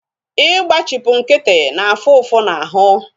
Igbachipu nkịtị na-afu ụfụ na ahụ